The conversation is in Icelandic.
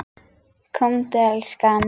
Komdu elskan!